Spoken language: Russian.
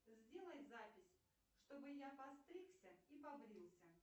сделай запись чтобы я постригся и побрился